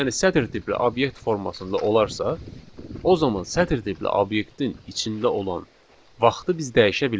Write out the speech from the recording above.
Yəni sətr tipli obyekt formasında olarsa, o zaman sətr tipli obyektin içində olan vaxtı biz dəyişə bilmərik.